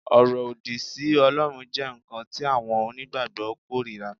Ọ̀rọ̀ òdì sí Ọlọ́run jẹ́ nǹkan tí àwọn onígbàgbọ́ kórìíra